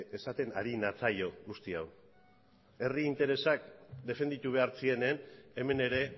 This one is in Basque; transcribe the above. esaten ari natzaio guzti hau herri interesak defenditu behar zirenean hemen ere